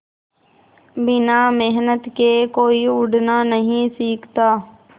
बिना मेहनत के कोई उड़ना नहीं सीखता